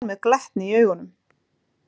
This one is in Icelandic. Hún horfir á hann með glettni í augunum.